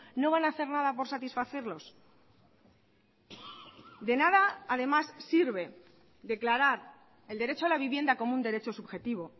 no van a hacer nada por satisfacerlos de nada además sirve declarar el derecho a la vivienda como un derecho subjetivo